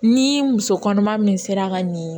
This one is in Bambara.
Ni muso kɔnɔma min sera ka nin